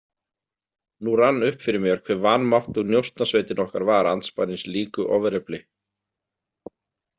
Nú rann upp fyrir mér hve vanmáttug Njósnasveitin okkar var andspænis líku ofurefli.